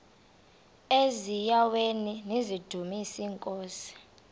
eziaweni nizidumis iinkosi